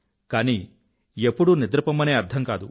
కానీ ఎప్పుడూ నిద్ర పొమ్మనే అర్థం కాదు